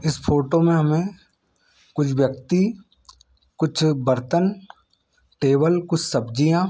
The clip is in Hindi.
इस फोटो में हमें कुछ व्यक्ति कुछ बर्तन टेबल कुछ सब्जियां--